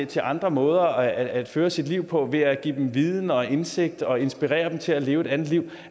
til andre måder at føre sit liv på ved at give dem viden og indsigt og inspirere dem til at leve et andet liv